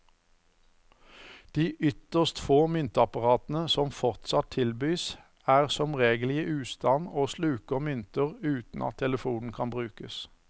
De ytterst få myntapparatene som fortsatt tilbys, er som regel i ustand og sluker mynter uten at telefonen kan brukes.